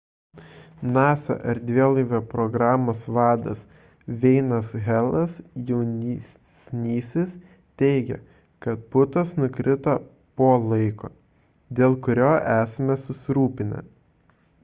nasa erdvėlaivio programos vadas n veinas helas jaunesnysis teigė kad putos nukrito po laiko dėl kurio esame susirūpinę